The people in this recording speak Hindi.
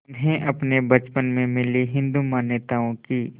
उन्हें अपने बचपन में मिली हिंदू मान्यताओं की